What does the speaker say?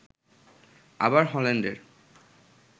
আবার হল্যান্ডের